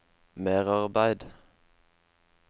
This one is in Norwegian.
merarbeid